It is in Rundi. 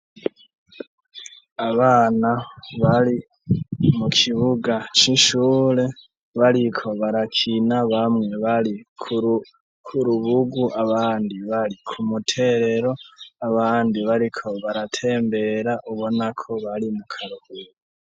Abana bari mu kibuga c'ishure, bariko barakina ,bamwe bari kurubugu ,abandi bari ku muterero, abandi bariko baratembera ubona ko bari mu karuhuko.